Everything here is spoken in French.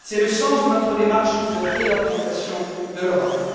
C'est le sens de votre démarche de réorientation de l'Europe.